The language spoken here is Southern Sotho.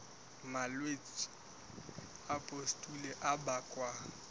malwetse a pustule a bakwang